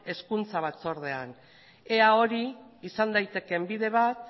hezkuntzako batzordean ea hori izan daitekeen bide bat